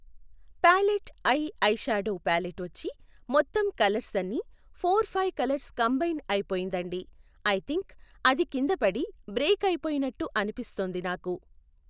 Palette eye eyeshadow palette వచ్చి మొత్తం colours అన్నీ, ఫోర్ ఫైవ్ కలర్స్ కంబైన్ అయిపోయిందండి, ఐ థింక్ అది కింద పడి బ్రేక్ అయిపోయినట్టు అనిపిస్తోంది నాకు.